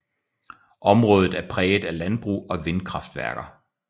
Området er præget af landbrug og vindkraftværker